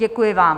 Děkuji vám.